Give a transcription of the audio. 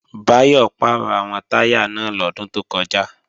Báyọ̀ pàrọ̀ àwọn táyà náà lọ́dún tó kọjá